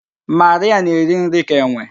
Marịa na-eri nri ka enwe